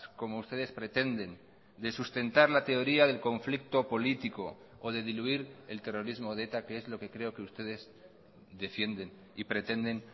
como ustedes pretenden de sustentar la teoría del conflicto político o de diluir el terrorismo de eta que es lo que creo que ustedes defienden y pretenden